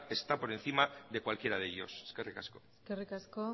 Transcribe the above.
está por encima de cualquiera de ellos eskerrik asko eskerrik asko